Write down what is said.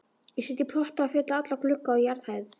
Ég set í potta og fylli alla glugga á jarðhæð.